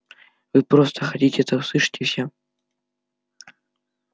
вы просто хотите это услышать и всё